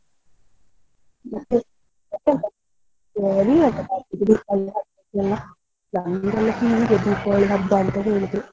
ಮತ್ತೆ ಮತ್ತೆಂತ ಆ ನೀವೆಂತ ಮಾಡಿದ್ರಿ Deepavali ಹಬ್ಬಕ್ಕೆಲ್ಲ ನಂದಂತು ಹೀಗೆ Deepavali ಹಬ್ಬ ಅಂತ ಹೇಳುದು.